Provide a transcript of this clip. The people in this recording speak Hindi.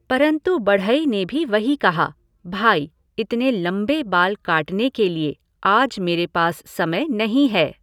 परन्तु बढ़ई ने भी वही कहा, भाई, इतने लम्बे बाल काटने के लिए आज मेरे पास समय नहीं है!